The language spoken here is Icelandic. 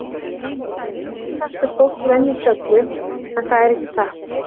Það er stundum sagt að fólk venjist öllu, en það er ekki satt.